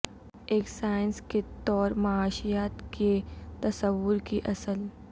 ایک سائنس کے طور معاشیات کے تصور کی اصل